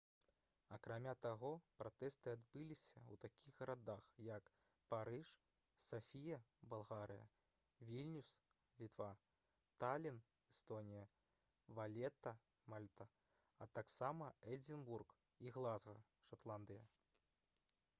акрамя таго пратэсты адбыліся ў такіх гарадах як парыж сафія балгарыя вільнюс літва талін эстонія валета мальта а таксама эдзінбург і глазга шатландыя